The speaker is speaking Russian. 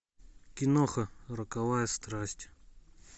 киноха роковая страсть